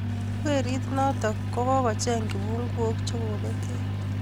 Werit notok ko kochengey kipungok che kobetyo